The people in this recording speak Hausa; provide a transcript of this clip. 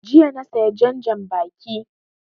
Jiya na saya jan janbaki